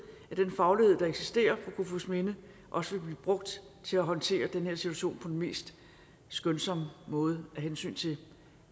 at den faglighed der eksisterer på kofoedsminde også vil blive brugt til at håndtere den her situation på den mest skånsomme måde af hensyn til